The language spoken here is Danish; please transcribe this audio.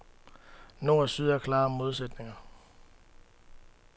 Nord og syd er klare modsætninger.